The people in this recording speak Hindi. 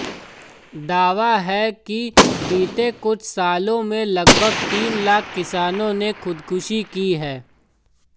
दावा है कि बीते कुछ सालों में लगभग तीन लाख किसानों ने ख़ुदकुशी की है